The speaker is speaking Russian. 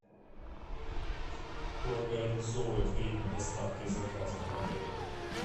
кто организовывает время доставки заказа в отеле